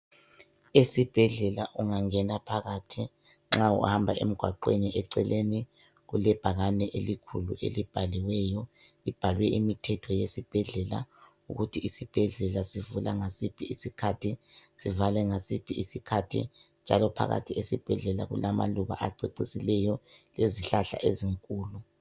Esibhedlela ungangena phakathi nxa uhamba emgwaqweni eceleni kulebhakani elikhulu elibhaliweyo. Libhalwe imithetho yesibhedlela ukuthi isibhedlela sivula ngasiphi isikhathi sivale ngasiphi isikhathi. Njalo phakathi esibhedlela kulamaluba acecisileyo lezihlahla ezinkulu.